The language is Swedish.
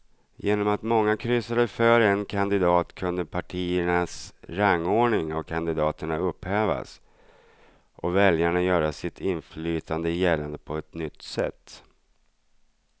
Genom att många kryssade för en kandidat kunde partiernas rangordning av kandidaterna upphävas och väljarna göra sitt inflytande gällande på ett nytt sätt.